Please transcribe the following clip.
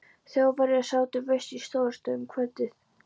Þjóðverjarnir sátu veislu í Stórustofu um kvöldið.